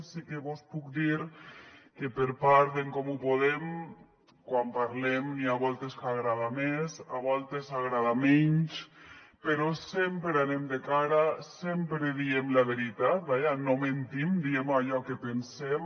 sí que vos puc dir que per part d’en comú podem quan parlem n’hi ha voltes que agrada més a voltes agrada menys però sempre anem de cara sempre diem la veritat vaja no mentim diem allò que pensem